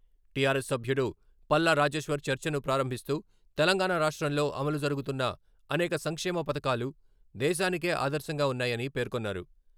TRS సభ్యుడు పల్లా రాజేశ్వర్ చర్చను ప్రారంభిస్తూ తెలంగాణ రాష్ట్రంలో అమలు జరుగుతున్న అనేక సంక్షేమ పథకాలు దేశానికే ఆదర్శంగా ఉన్నాయని పేర్కొన్నారు.